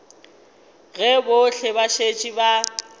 ge bohle ba šetše ba